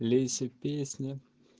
лейся песня